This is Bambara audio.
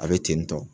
A bɛ ten tɔ